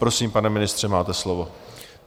Prosím, pane ministře, máte slovo.